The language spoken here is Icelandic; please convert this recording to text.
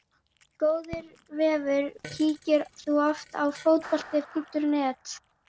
Góður vefur Kíkir þú oft á Fótbolti.net?